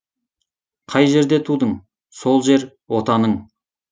қай жерде тудың сол жер отаның